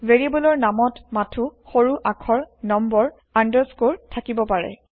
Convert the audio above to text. ভেৰিয়েব্লৰ নামত মাথো সৰু আখৰ নম্বৰআনদাৰস্কৰ থাকিব পাৰে